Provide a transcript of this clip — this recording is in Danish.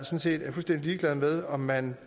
set er fuldstændig ligeglade med om man